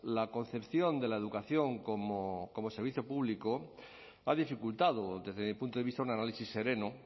la concepción de la educación como servicio público ha dificultado desde mi punto de vista un análisis sereno